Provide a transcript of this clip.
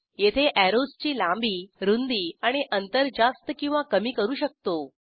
येथे अॅरोजची लांबी रूंदी आणि अंतर जास्त किंवा कमी करू शकतो